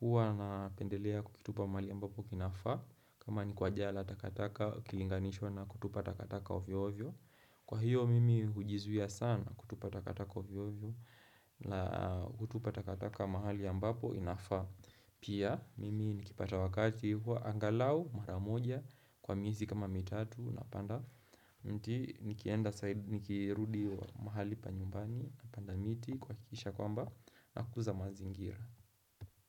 huwa na pendelea kukitupa mahali ambapo kinafaa. Kama ni kwa jaa la takataka kukilinganishwa na kutupa takataka ovyo-ovyo. Kwa hiyo, mimi hujizuia sana kutupa takataka ovyo-ovyo na kutupa takataka mahali ambapo inafaa Pia mimi nikipata wakati huwa angalau maramoja kwa miezi kama mitatu na panda mti nikirudi mahali pa nyumbani napanda miti kuhakikisha kwamba nakuza mazingira.